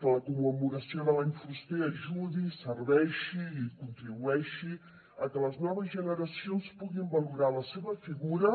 que la commemoració de l’any fuster ajudi serveixi i contribueixi a que les noves generacions puguin valorar la seva figura